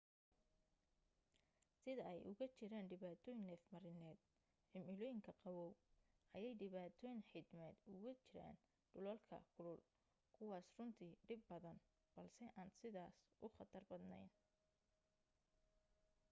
sida ay uga jiraan dhibaatooyin neefmarineed cimilooyinka qaboow ayay dhibaatooyin xiidmeed ugu jiraan dhulalka kulul kuwaas runtii dhib badan balse aan sidaas u khatar badnayn